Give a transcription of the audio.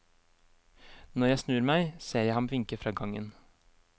Når jeg snur meg, ser jeg ham vinke fra gangen.